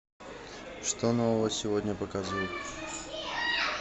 что нового сегодня показывают